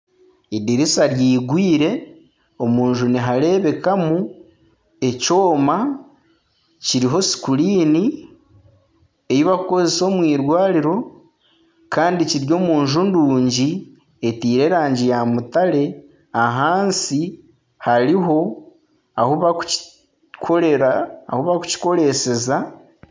Edirisa rigwire omu nju nihareebekamu ekyoma kiriho sikuriini ei barikukoresa omu eirwariro kandi kiri omu nju nungi eteire erangi ya mutare ahansi hariho ahu barikukikoreseza.